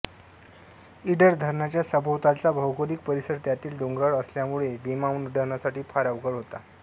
इडर धरणाच्या सभोवतालचा भौगोलिक परिसर त्यातील डोंगराळ असल्यामुळे विमानउड्डाणासाठी फार अवघड होता